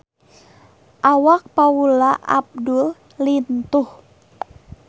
Awak Paula Abdul lintuh